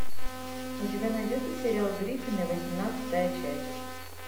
у тебя найдется сериал гриффины восемнадцатая часть